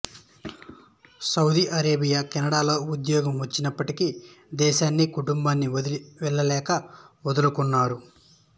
Saudi Arabia కెనడాలో ఉద్యోగం వచ్చినప్పటికీ దేశాన్ని కుటుంబాన్ని వదిలి వెళ్లలేక వదులుకున్నారు